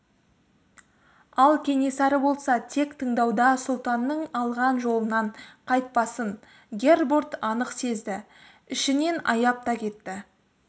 ал кенесары болса тек тыңдауда сұлтанның алған жолынан қайтпасын гербурт анық сезді ішінен аяп та кетті